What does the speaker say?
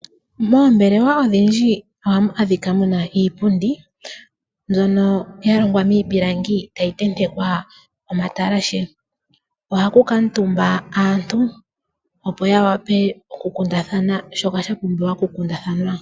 Moombelewa odhindji ohamu adhika muna iipundi mbyono ya longwa miipilangi tayi tentekwa omatalashe. Ohaku kuutumba aantu opo ya wape okukundathana shoka shapumbiwa okukundathanwa.